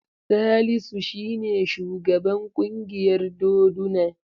Salisu shi ne shugaban ƙungiyar doduna.